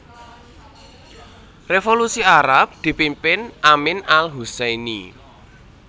Revolusi Arab dipimpin Amin Al Husseini